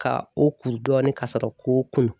Ka o kuru dɔɔnin k'a sɔrɔ ko kunun.